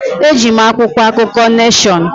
Eji m akwụkwọ akụkọ Neshọn.